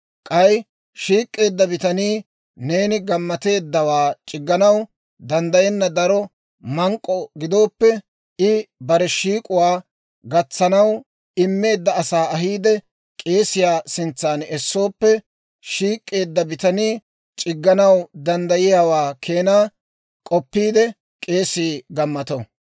K'ay shiik'k'eedda bitanii neeni k'oppeeddawaa c'igganaw danddayenna daro mank'k'o gidooppe, I bare shiik'uwaa gatsanaw immeedda asaa ahiide k'eesiyaa sintsan essooppe shiik'k'eedda bitanii c'igganaw danddayiyaawaa keenaa k'oppiide k'eesii gammato.